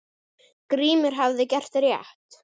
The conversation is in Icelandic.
Grímur hafði gert rétt.